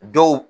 Dɔw